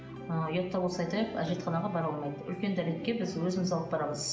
ы ұят та болса айтайық әжетханаға бара алмайды үлкен дәретке біз өзіміз алып барамыз